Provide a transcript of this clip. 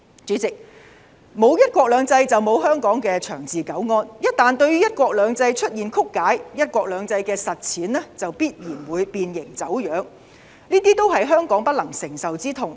主席，沒有"一國兩制"就沒有香港的長治久安，一旦對"一國兩制"出現曲解，"一國兩制"的實踐就必然會變形、走樣，這些都是香港不能承受的痛。